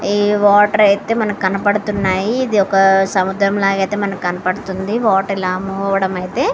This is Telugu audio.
ఇది వాటర్ అయితే మనకి కనబడుతున్నాయి ఇది ఒక సముద్రం లాగా అయితే మనకి కనబడుతుంది.